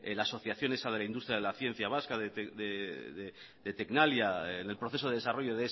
la asociación esa de la industria de la ciencia vasca de tecnalia en el proceso de desarrollo